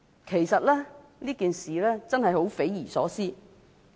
其實，這件事真是十分匪夷所思的。